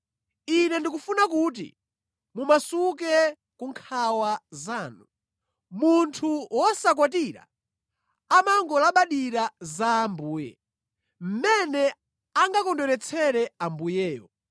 Ine ndikufuna kuti mumasuke ku nkhawa zanu. Munthu wosakwatira amangolabadira za Ambuye, mmene angakondweretsere Ambuyewo.